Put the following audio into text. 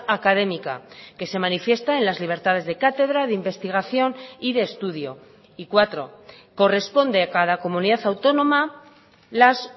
académica que se manifiesta en las libertades de cátedra de investigación y de estudio y cuatro corresponde a cada comunidad autónoma las